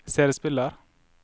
CD-spiller